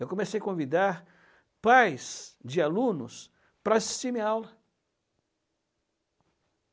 Eu comecei a convidar pais de alunos para assistir minha aula.